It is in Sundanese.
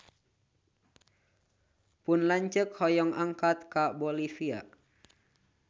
Pun lanceuk hoyong angkat ka Bolivia